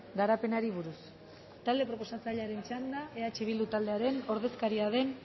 garapenari buruz talde proposatzailearen txanda eh bildu taldearen ordezkaria den